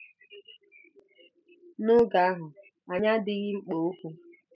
N'oge ahụ, anyị adịghị mkpa okwu.